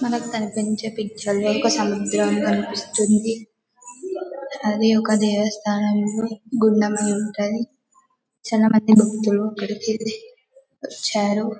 మనకు కనిపించే పిక్చర్లో ఒక సముద్రం కనిపిస్తుంది అది ఒక దేవస్థానం లో గుండం అయి ఉంటది చాలా మంది భక్తులు ఇక్కడకి ఉంచారు .